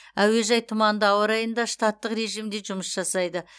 әуежай тұманды ауа райында штаттық режімде жұмыс жасайды